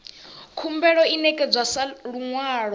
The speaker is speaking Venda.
khumbelo i ṋekedzwa sa luṅwalo